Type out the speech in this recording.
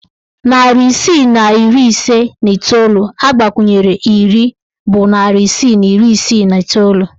Narị isii na iri ise na iteolu agbakwunyere iri bụ narị isii na iri isii na iteolu